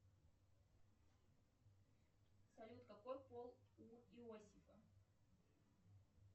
салют какой пол у иосифа